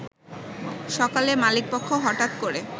সকালে মালিকপক্ষ হঠাৎ করে